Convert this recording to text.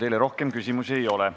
Teile rohkem küsimusi ei ole.